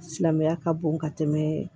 Silamɛya ka bon ka tɛmɛ